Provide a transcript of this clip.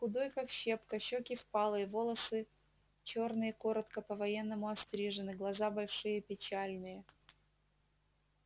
худой как щепка щеки впалые волосы чёрные коротко по-военному острижены глаза большие печальные